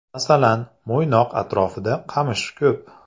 Masalan, Mo‘ynoq atrofida qamish ko‘p.